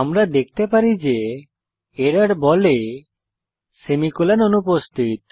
আমরা দেখতে পারি যে এরর বলে সেমিকোলন অনুপস্থিত